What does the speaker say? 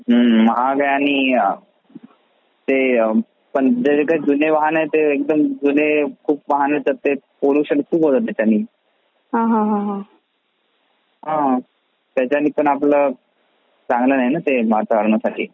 हं महाग आहे आणि ते जुने वाहन आहे ते एकदम जुने वाहन असतात खूप पोल्यूशन खूप होत त्याच्यानी हा त्याचेनि पण चांगल नाही आहे ना वातावरण साठी.